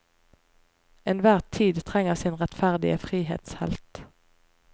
Enhver tid trenger sin rettferdige frihetshelt.